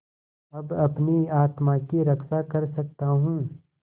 अब अपनी आत्मा की रक्षा कर सकता हूँ